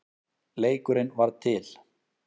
Leikurinn varð til.